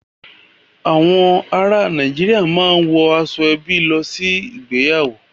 Àwọn ará Nàìjíríà máa ń wọ aṣọ-ẹbí lọ sí ìgbéyàwó.